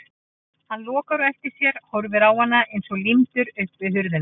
Hann lokar á eftir sér og horfir á hana eins og límdur upp við hurðina.